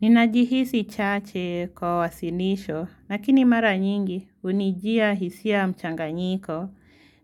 Ninajihisi chache kwa wasilisho, lakini mara nyingi hunijia hisia mchanganyiko.